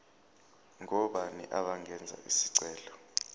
ngobani abangenza isicelo